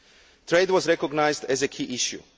Trade was recognised as a key issue.